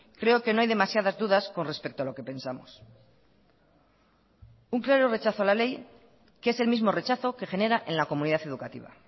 creo que no hay demasiadas dudas con respecto a lo que pensamos un claro rechazo a la ley que es el mismo rechazo que genera en la comunidad educativa